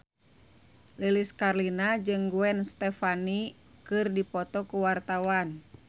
Lilis Karlina jeung Gwen Stefani keur dipoto ku wartawan